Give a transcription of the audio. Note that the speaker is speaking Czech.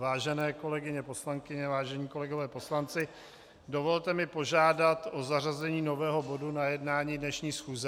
Vážené kolegyně poslankyně, vážení kolegové poslanci, dovolte mi požádat o zařazení nového bodu na jednání dnešní schůze.